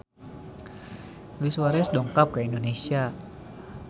Luis Suarez dongkap ka Indonesia